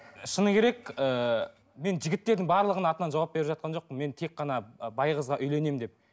шыны керек ыыы мен жігіттердің барлығының атынан жауап беріп жатқан жоқпын мен тек қана бай қызға үйленемін деп